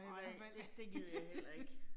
Nej, det gider jeg heller ikke